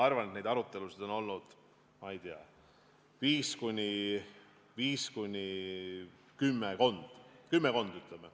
Ma arvan, et neid arutelusid on olnud viis kuni kümme, kümmekond.